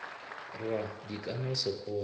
rwa di ka se hole